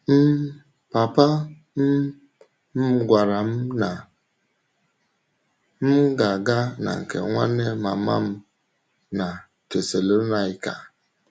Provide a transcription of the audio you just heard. um Pàpà um m gwàrà m na m gà-aga na nke nwanne màmá m na Tesalọnaịka.